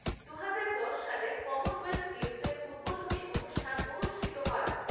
দু হাজার দশ সালের কমনওয়েলথ গেমসের উদ্বোধনী অনুষ্ঠান অনুষ্ঠিত হয়।